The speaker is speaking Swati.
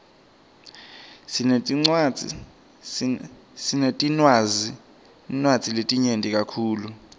sinetinwadzi letinyeti kakhulu